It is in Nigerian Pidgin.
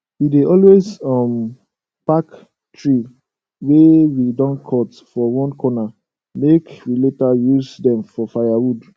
we dey always um pack tree wey we don cut for one corner make we later use dem for firewood